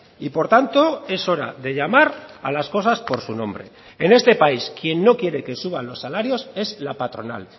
y por tanto es hora de llamar a las cosas por su nombre en este país quien no quiere que suban los salarios es la patronal